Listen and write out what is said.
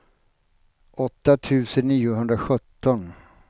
åtta tusen niohundrasjutton